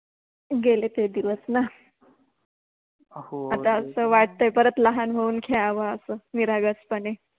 गेले ते दिवस न, आता अस वाटते परत लहान होउन खेळाव आपण निरगसपणे